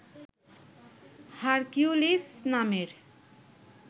Hercules নামের